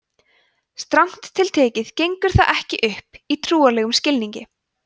strangt til tekið gengur það ekki upp í trúarlegum skilningi